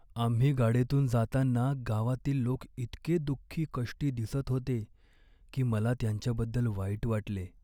आम्ही गाडीतून जाताना गावातील लोक इतके दुःखी कष्टी दिसत होते की मला त्यांच्याबद्दल वाईट वाटले.